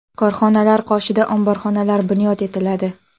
Korxonalar qoshida omborxonalar bunyod etiladi.